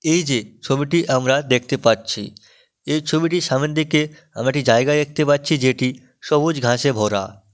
এই যে ছবিটি আমরা দেখতে পাচ্ছি এই ছবিটি সামনের দিকে আমরা একটি জায়গা দেখতে পাচ্ছি যেটি সবুজ ঘাসে ভরা।